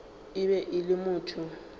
e be e le motho